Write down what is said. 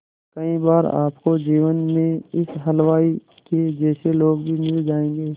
कई बार आपको जीवन में इस हलवाई के जैसे लोग भी मिल जाएंगे